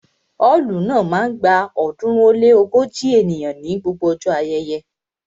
Ọ́ọ̀lù náà máa ń gba ọ̀ọ́dúnrún ó lé ógójì ènìyàn ní gbogbo ọjọ́ ayẹyẹ